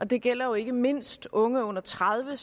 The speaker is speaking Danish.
det gælder jo ikke mindst unge under tredive